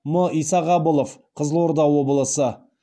м исағабылов қызылорда облысы